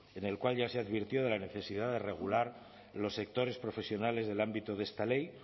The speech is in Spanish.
en el cual ya se advirtió de la necesidad de regular los sectores profesionales del ámbito de esta ley